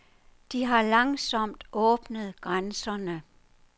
De har langsomt åbnet grænserne.